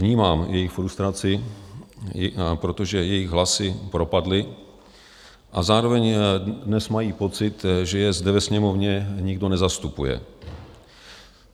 Vnímám jejich frustraci, protože jejich hlasy propadly, a zároveň dnes mají pocit, že je zde ve Sněmovně nikdo nezastupuje.